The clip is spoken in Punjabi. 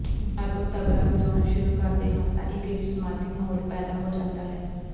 ਜਦ ਉਹ ਤਬਲਾ ਵਜਾਉਣਾ ਸ਼ੁਰੂ ਕਰਦੇ ਹਨ ਤਾਂ ਇੱਕ ਵਿਸਮਾਦੀ ਮਹੌਲ ਪੈਦਾ ਹੋ ਜਾਂਦਾ ਹੈ